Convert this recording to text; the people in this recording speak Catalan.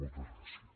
moltes gràcies